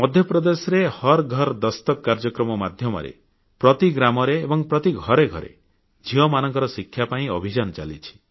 ମଧ୍ୟପ୍ରଦେଶରେ ହର୍ ଘର୍ ଦସ୍ତକ କାର୍ଯ୍ୟକ୍ରମ ମାଧ୍ୟମରେ ପ୍ରତି ଗ୍ରାମରେ ଏବଂ ଘରେ ଘରେ ଝିଅମାନଙ୍କର ଶିକ୍ଷା ପାଇଁ ଅଭିଯାନ ଚାଲିଛି